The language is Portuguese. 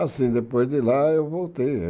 Ah, sim, depois de lá eu voltei.